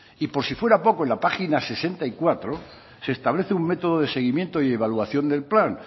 y por si fuera poco en la páginas sesenta y cuatro se establece un método de seguimiento y evaluación del plan